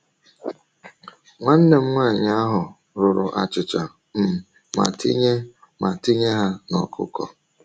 Nwanne nwanyị ahụ rụrụ achịcha um ma tinye ma tinye ha n’ọkụkọ.